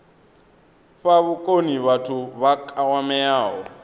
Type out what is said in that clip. fha vhukoni vhathu vha kwameaho